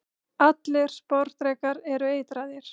allir sporðdrekar eru eitraðir